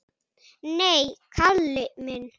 Nei, Kalli minn.